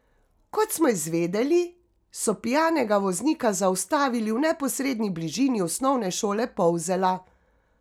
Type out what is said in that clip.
Kot smo izvedeli, so pijanega voznika zaustavili v neposredni bližini Osnovne šole Polzela.